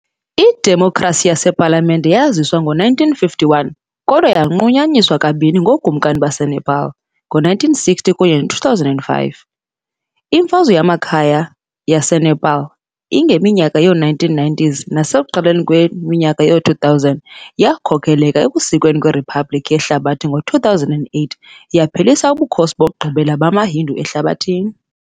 Idemokhrasi yasePalamente yaziswa ngo-1951 kodwa yanqunyanyiswa kabini ngookumkani baseNepal, ngo-1960 kunye no-2005. Imfazwe yamakhaya yaseNepal ngeminyaka yoo-1990s nasekuqaleni kweminyaka yoo-2000 yakhokelela ekusekweni kweriphabliki yehlabathi ngo-2008, yaphelisa ubukhosi bokugqibela bamaHindu ehlabathini.